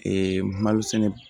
Ee malo sɛnɛ